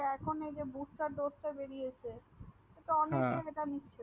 তো এখন যে Bush star ডোজ টা বেরিছে।